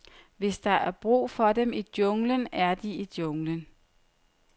Hvis der er brug for dem i junglen, er de i junglen.